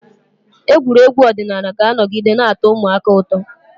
Egwuregwu ọdịnala ga-anọgide na-atọ ụmụaka ụtọ